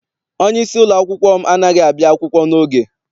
Onyeisi ụlọakwụkwọ m anaghị abịa akwụkwọ n'oge.